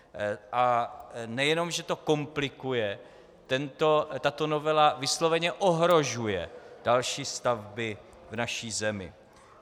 A nejenom že to komplikuje, tato novela vysloveně ohrožuje další stavby v naší zemi.